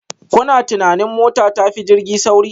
Kuna tunanin mota ta fi jirgi sauri?